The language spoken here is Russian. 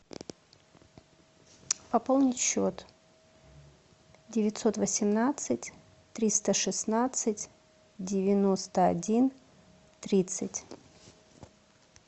пополнить счет девятьсот восемнадцать триста шестнадцать девяносто один тридцать